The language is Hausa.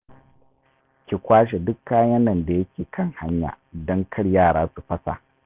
Ki kwashe duk kayan nan da ke kan hanya don kar yara su fasa.